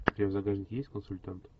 у тебя в загашнике есть консультант